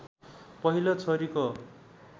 पहिलो छोरीको